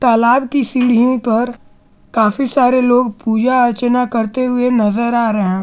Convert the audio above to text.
तालाब की सीढ़ि पर काफी सारे लोग पूजा अर्चना करते हुए नजर आ रहे--